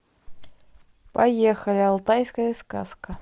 поехали алтайская сказка